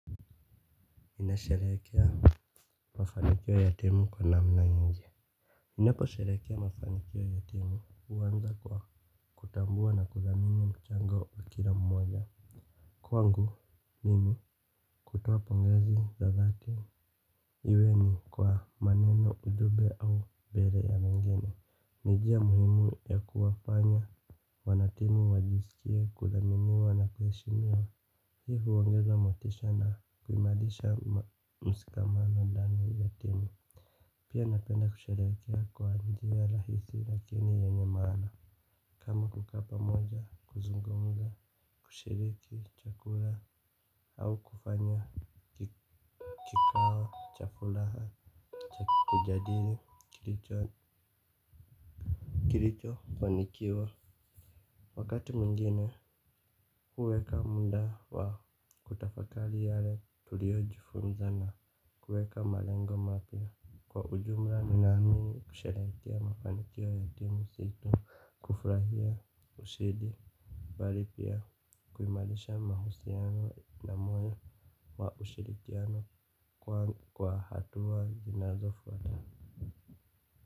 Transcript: Ninasheherekea mafanikio ya timu kwa namna nyingi. Ninaposherekea mafanikyo ya timu huanza kwa kutambua na kudhamini mchango wa kila mmoja. Kwangu mimi hutoa pongezi za dhati. Iwe ni kwa maneno ujumbe au mbele ya wengini. Ni njia muhimu ya kuwafanya wanatimu wajisikie kuthaminia na kuheshimiwa hii huongeza motisha na kuimarisha mshikamano ndani ya timu. Pia napenda kusherehekea kwa njia rahisi lakini yenye maana. Kama kukaa pamoja, kuzungumza, kushiriki chakula au kufanya kikawa chakula cha, kujadili kilichofanikiwa. Wakati mwingine, huweka muda wa kutafakari yale tuliojifunza na kuweka malengo mapya. Kwa ujumla ninaamini kusherekea mafanikio ya timu si tu kufurahia ushindi mbali pia kuimarisha mahusiano na moyo wa ushirikiano kwa hatua zinazofuata.